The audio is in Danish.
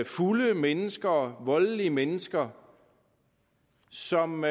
fulde mennesker voldelige mennesker som